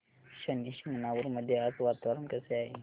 शनी शिंगणापूर मध्ये आज वातावरण कसे आहे